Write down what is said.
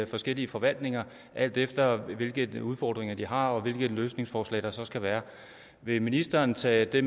forskellige forvaltninger alt efter hvilke udfordringer de har og hvilke løsningsforslag der så skal være vil ministeren tage det